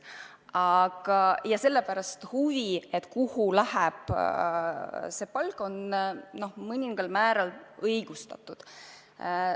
Ja sellepärast huvi, kuhu läheb meie palk, on mõningal määral õigustatud.